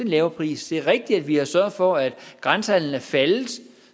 lavere pris det er rigtigt at vi har sørget for at grænsehandelen er faldet